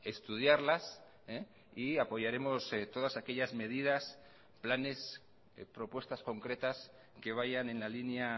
estudiarlas y apoyaremos todas aquellas medidas planes propuestas concretas que vayan en la línea